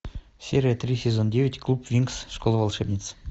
серия три сезон девять клуб винкс школа волшебниц